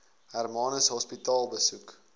hermanus hospitaal besoek